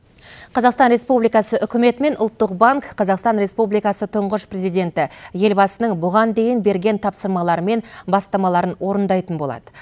қазақстан республикасы үкіметі мен ұлттық банк қазақстан республикасы тұңғыш президенті елбасының бұған дейін берген тапсырмалары мен бастамаларын орындайтын болады